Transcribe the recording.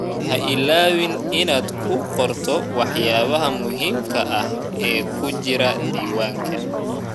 Ha ilaawin inaad ku qorto waxyaabaha muhiimka ah ee ku jira diiwaanka.